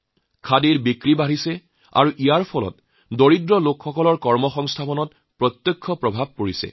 খাদীৰ বিক্ৰী বাঢ়ি গৈছে আৰু তাৰ বাবে দুখীয়া লোকসকলৰ সংস্থাপনৰো বাট মুকলি হৈছে